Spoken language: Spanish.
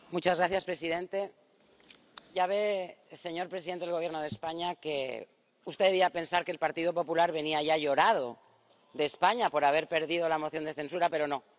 Señor presidente. Ya ve, señor presidente del Gobierno de España, que usted debía pensar que el Partido Popular venía ya llorado de España por haber perdido la moción de censura, pero no.